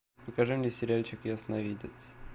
покажи мне сериальчик ясновидец